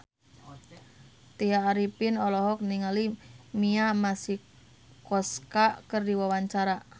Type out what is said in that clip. Tya Arifin olohok ningali Mia Masikowska keur diwawancara